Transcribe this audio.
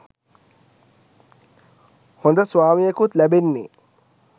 හොඳ ස්වාමියෙකුත් ලැබෙන්නෙ